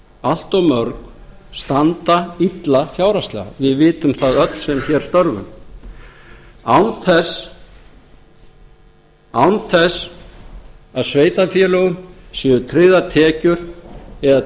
allt of mörg standa illa fjárhagslega við vitum það öll sem hér störfum án þess að sveitarfélögum séu tryggðar tekjur eða